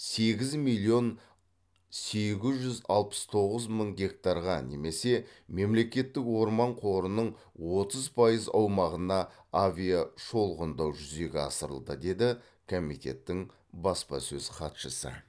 сегіз миллион сегіз жүз алпыс тоғыз мың гектарға немесе мемлекеттік орман қорының отыз пайыз аумағына авиашолғындау жүзеге асырылды деді комитеттің баспасөз хатшысы